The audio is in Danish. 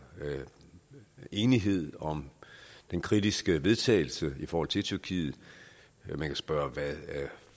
enighed om det kritiske forslag vedtagelse i forhold til tyrkiet man kan spørge hvad det